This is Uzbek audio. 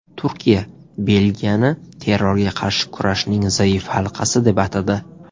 Turkiya Belgiyani terrorga qarshi kurashning zaif halqasi deb atadi.